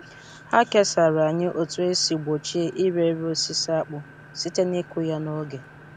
Ha kesara anyị otu esi gbochie ire ere osisi akpụ site n’ịkụ ya n’oge.